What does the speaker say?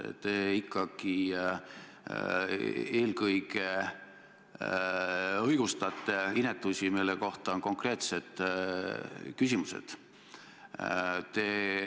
Te ikkagi eelkõige õigustate inetusi, mille kohta on konkreetsed küsimused.